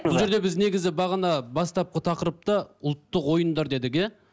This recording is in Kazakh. бұл жерде біз негізі бағана бастапқы тақырыпта ұлттық ойындар дедік иә